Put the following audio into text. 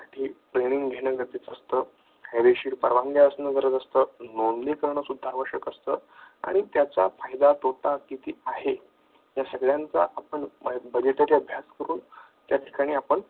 training घेणं गरजेचं असतं, कायदेशीर परवानगी असणं गरजेचं असतं, नोंदणी करणे सुद्धा आवश्यक असतं आणि त्याचा फायदा तोटा किती आहे. या सगळ्यांचा आपण अभ्यास करून या ठिकाणी आपण